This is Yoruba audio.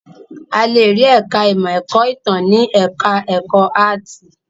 A le rí ẹ̀ka-ìmọ̀ ẹ̀kọ́-ìtàn ní ẹ̀ka-ẹ̀kọ́ áátì.